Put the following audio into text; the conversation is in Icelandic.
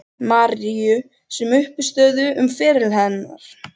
Maríu sem uppistöðu um feril hennar.